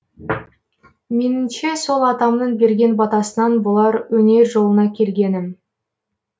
меніңше сол атамның берген батасынан болар өнер жолына келгенім